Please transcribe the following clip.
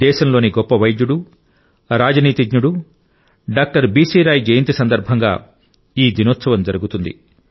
దేశంలోని గొప్ప వైద్యుడు రాజనీతిజ్ఞుడు డాక్టర్ బిసి రాయ్ జయంతి సందర్భంగా ఈ దినోత్సవం జరుగుతుంది